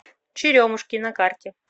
черемушки на карте